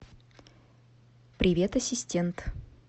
привет ассистент